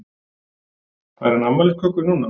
Fær hann afmælisköku núna?